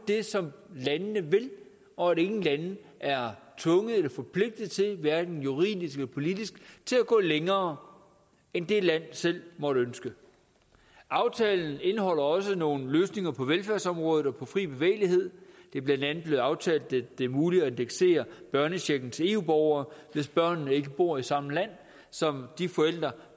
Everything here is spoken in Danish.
det som landene vil og at ingen lande er tvunget eller forpligtet til hverken juridisk eller politisk at gå længere end det land selv måtte ønske aftalen indeholder også nogle løsninger på velfærdsområdet og på fri bevægelighed det er blandt andet blevet aftalt at det er muligt at indeksere børnechecken til eu borgere hvis børnene ikke bor i samme land som de forældre